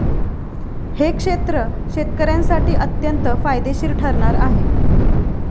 हे क्षेत्र शेतकऱ्यांसाठी अत्यंत फायदेशीर ठरणार आहे.